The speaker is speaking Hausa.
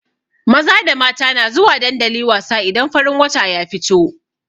Maza da mata na zuwa dandali wasa idan farin wata ya fito.